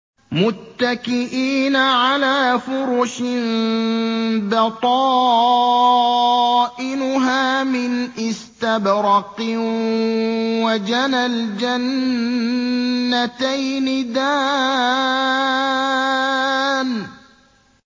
مُتَّكِئِينَ عَلَىٰ فُرُشٍ بَطَائِنُهَا مِنْ إِسْتَبْرَقٍ ۚ وَجَنَى الْجَنَّتَيْنِ دَانٍ